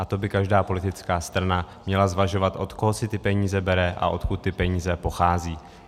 A to by každá politická strana měla zvažovat, od koho si ty peníze bere a odkud ty peníze pocházejí.